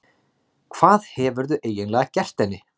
Hvað hefurðu eiginlega gert henni?